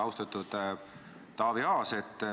Austatud Taavi Aas!